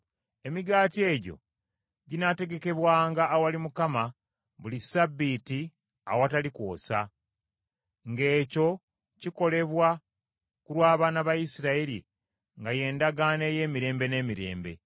Emigaati egyo ginaategekebwanga awali Mukama buli Ssabbiiti awatali kwosa, ng’ekyo kikolebwa ku lw’abaana ba Isirayiri nga ye ndagaano ey’emirembe n’emirembe.